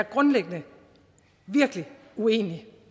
grundlæggende virkelig uenig